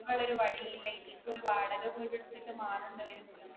വേറെ ഒരു വഴി ഇല്ലെങ്കിൽ ഒരു വാടക വീട് എടുത്തിട്ട് മാറേണ്ടി വരും.